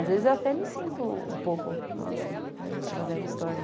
Às vezes eu até me sinto um pouco, nossa, aquela velha história.